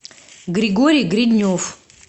григорий гриднев